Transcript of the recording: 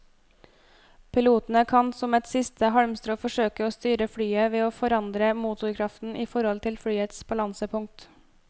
Pilotene kan som et siste halmstrå forsøke å styre flyet ved å forandre motorkraften i forhold til flyets balansepunkt.